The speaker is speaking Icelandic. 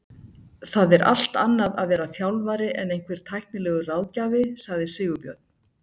Það er allt annað að vera þjálfari en einhver tæknilegur ráðgjafi, sagði Sigurbjörn.